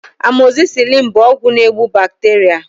Amoxicillin bụ ọgwụ na egbu bacteria